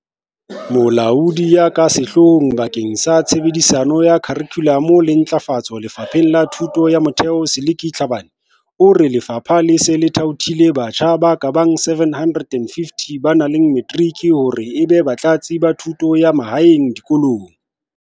Molaodi ya ka Sehloohong bakeng sa Tshebediso ya Kharikhulamo le Ntlafa tso Lefapheng la Thuto ya Motheo Seliki Tlhabane, o re lefapha le se le thaothile batjha ba ka bang 750 ba nang le matric hore ebe Batlatsi ba Thuto ya Mahaeng dikolong.